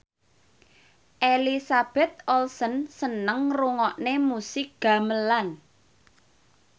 Elizabeth Olsen seneng ngrungokne musik gamelan